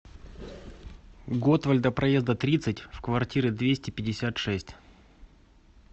готвальда проезда тридцать в квартиры двести пятьдесят шесть